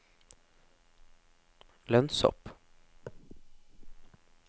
lønnshopp